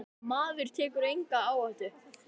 Maður tekur enga áhættu!